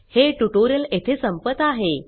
हे ट्यूटोरियल येथे संपत आहे